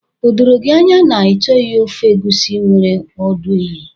O doro gị anya na ị chọghị ofe egusi nwere ọdụ ehi?